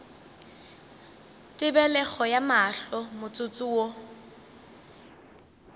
tebelego ya mahlo motsotso wo